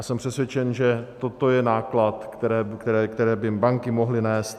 A jsem přesvědčen, že toto je náklad, který by banky mohly nést.